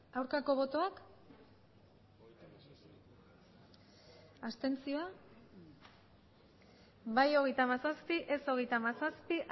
aurkako botoak abstentzioak bai hogeita hamazazpi ez hogeita hamazazpi